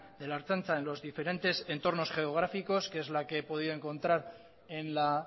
de la ertzaintza en los diferentes entornos geográficos que es la que he podido encontrar en la